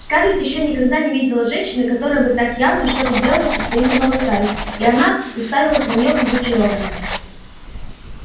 скарлетт ещё никогда не видела женщины которая бы так явно что-то делала со своими волосами и она уставилась на нее как зачарованная